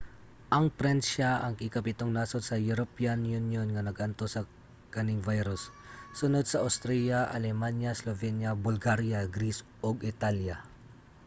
ang pransiya ang ikapitung nasod sa european union nga nag-antos sa kaning virus; sunod sa austria alemanya slovenia bulgaria greece ug italya